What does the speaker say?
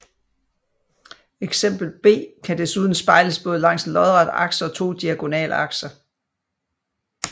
Eksempel B kan desuden spejles både langs en lodret akse og to diagonale akser